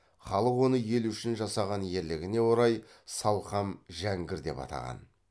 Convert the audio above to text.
халық оны ел үшін жасаған ерлігіне орай салқам жәңгір деп атанған